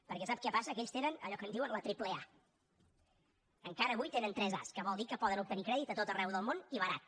perquè sap què passa que ells tenen allò que en diuen la triple a encara avui tenen tres as que vol dir que poden obtenir crèdit a tot arreu del món i barat